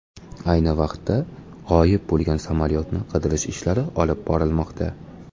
Ayni vaqtda g‘oyib bo‘lgan samolyotni qidirish ishlari olib borilmoqda.